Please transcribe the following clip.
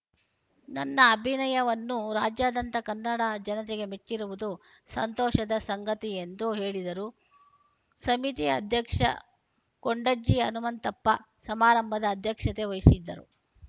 ನನ್ನ ಅಭಿನಯವನ್ನು ರಾಜ್ಯಾದ್ಯಂತ ಕನ್ನಡ ಜನತೆಗೆ ಮೆಚ್ಚಿರುವುದು ಸಂತೋಷದ ಸಂಗತಿ ಎಂದು ಹೇಳಿದರು ಸಮಿತಿ ಅಧ್ಯಕ್ಷ ಕೊಂಡಜ್ಜಿ ಹನುಮಂತಪ್ಪ ಸಮಾರಂಭದ ಅಧ್ಯಕ್ಷತೆ ವಹಿಸಿದ್ದರು